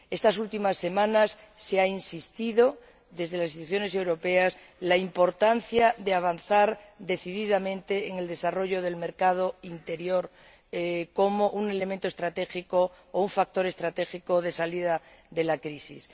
Estas últimas semanas se ha insistido, desde las instituciones europeas, en la importancia de avanzar decididamente en el desarrollo del mercado interior como un elemento estratégico o un factor estratégico de salida de la crisis.